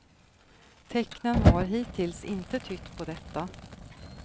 Tecknen har hittills inte tytt på detta.